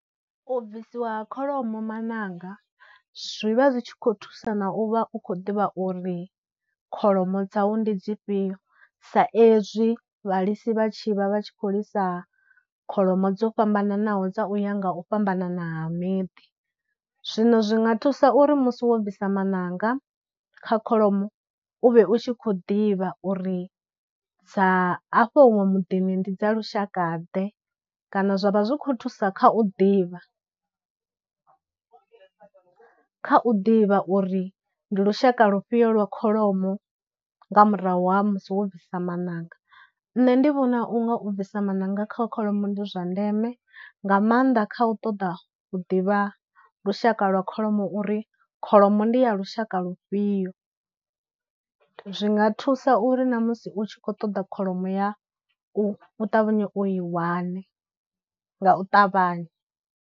U bvisiwa ha kholomo maṋanga zwi vha zwi tshi khou thusa na u vha u khou ḓivha uri kholomo dzau ndi dzifhio sa ezwi vhalisi vha tshi vha vha tshi khou lisa kholomo dzo fhambananaho nga u ya nga u fhambanana ha miḓi, zwino zwi nga thusa uri musi wo bvisa maṋanga kha kholomo u vhe u tshi khou ḓivha uri dza afho huṅwe muḓini ndi dza lushaka ḓe, kana zwa vha zwi khou thusa kha u ḓivha, kha u ḓivha uri ndi lushaka lufhio lwa kholomo nga murahu ha musi wo bvisa maṋanga. Nṋe ndi vhona unga u bvisa maṋanga kha kholomo ndi zwa ndeme nga maanḓa kha u ṱoḓa u ḓivha lushaka lwa kholomo uri kholomo ndi ya lushaka lufhio. Zwinga thusa uri na musi u tshi khou ṱoḓa kholomo yau u ṱavhanye u i wane nga u ṱavhanya.